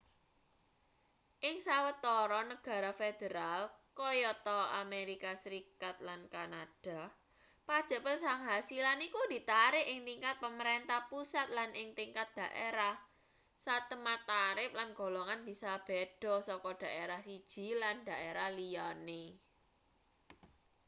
ing sawetara negara federal kayata amerika serikat lan kanada pajek penghasilan iku ditarik ing tingkat pamarentah pusat lan ing tingkat daerah satemah tarip lan golongan bisa beda saka daerah siji lan daerah liyane